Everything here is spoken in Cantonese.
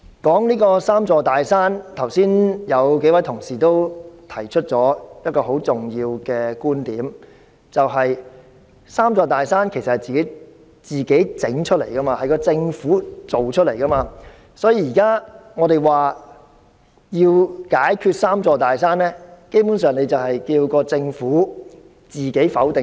關於這"三座大山"，有數位同事剛才也提出了一個很重要的觀點，就是這"三座大山"是政府製造出來的，所以當我們說要解決"三座大山"，基本上是叫政府自我否定。